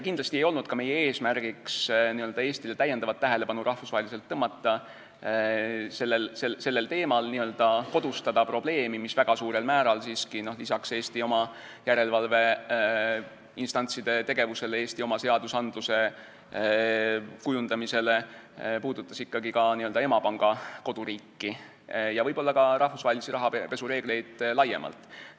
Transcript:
Kindlasti ei olnud meie eesmärk sellel teemal Eestile rahvusvaheliselt lisatähelepanu tõmmata, n-ö kodustada probleemi, mis väga suurel määral siiski peale Eesti oma järelevalveinstantside tegevuse ja Eesti oma seaduste kujundamise puudutas ikkagi ka emapanga koduriiki ja võib-olla ka rahvusvahelisi rahapesureegleid laiemalt.